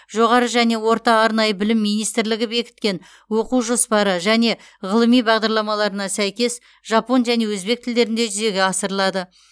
жоғары және орта арнайы білім министрлігі бекіткен оқу жоспары және ғылыми бағдарламаларына сәйкес жапон және өзбек тілдерінде жүзеге асырылады